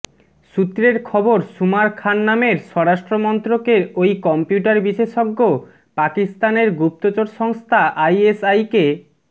সূত্রের খবর সুমার খান নামের স্বরাষ্ট্রমন্ত্রকের ওই কম্পিউটার বিশেষজ্ঞ পাকিস্তানের গুপ্তচর সংস্থা আইএসআইকে